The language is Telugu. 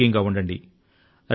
ఆరోగ్యం గా ఉండండి